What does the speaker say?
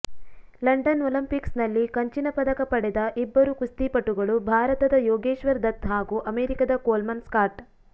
London Olympics ನಲ್ಲಿ ಕಂಚಿನ ಪದಕ ಪಡೆದ ಇಬ್ಬರು ಕುಸ್ತಿಪಟುಗಳು ಭಾರತದ ಯೋಗೇಶ್ವರ್ ದತ್ ಹಾಗೂ ಅಮೆರಿಕದ ಕೊಲ್ಮನ್ ಸ್ಕಾಟ್